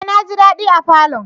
Eh! Naji dadi a falon.